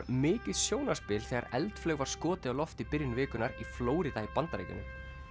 mikið sjónarspil þegar eldflaug var skotið upp í byrjun vikunnar í Flórída í Bandaríkjunum